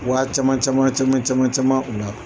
Wa caman caman caman caman caman u la.